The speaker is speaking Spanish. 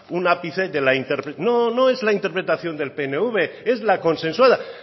un ápice no no es la interpretación del pnv es la consensuada